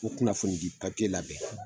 Ko kunnafonidi labɛn.